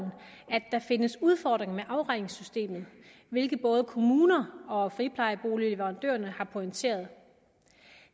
at der findes udfordringer med afregningssystemet hvilket både kommuner og friplejeboligleverandørerne har pointeret